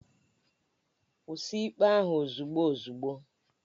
Kwụsị ikpe ahu ozugbo ozugbo!